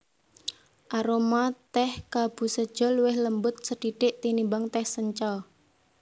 Aroma tèh kabusecha luwih lembut sethithik tinimbang tèh sencha